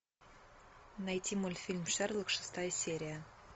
найти мультфильм шерлок шестая серия